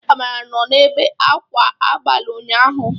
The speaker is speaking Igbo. Amara nnọ na-ebe akwa abalị ụnyaahụ.